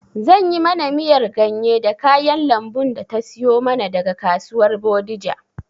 Zan yi mana miyar ganye da kayan lambun da ta siyo mana daga kasuwar bodija